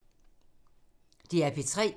DR P3